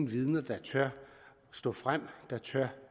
vidner der tør stå frem der tør